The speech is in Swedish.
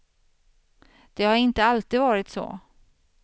Det har inte alltid varit så.